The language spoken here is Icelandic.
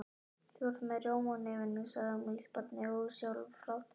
Þú ert með rjóma á nefinu, sagði afmælisbarnið ósjálfrátt.